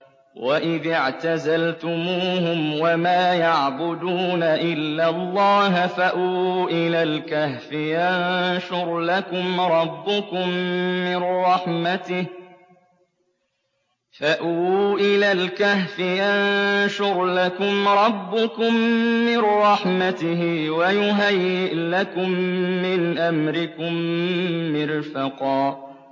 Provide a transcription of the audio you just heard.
وَإِذِ اعْتَزَلْتُمُوهُمْ وَمَا يَعْبُدُونَ إِلَّا اللَّهَ فَأْوُوا إِلَى الْكَهْفِ يَنشُرْ لَكُمْ رَبُّكُم مِّن رَّحْمَتِهِ وَيُهَيِّئْ لَكُم مِّنْ أَمْرِكُم مِّرْفَقًا